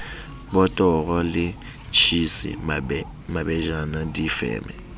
botoro le tjhisi mabejana difeme